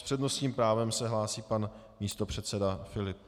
S přednostním právem se hlásí pan místopředseda Filip.